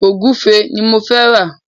Ògúnfe ni mo fẹ́ rà.